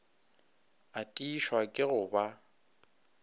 a tiišwa ke go ba